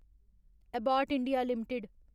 Abbott India limited